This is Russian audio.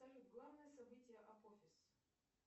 салют главное событие апофис